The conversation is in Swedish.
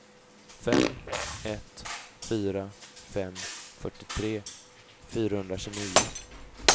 fem ett fyra fem fyrtiotre fyrahundratjugonio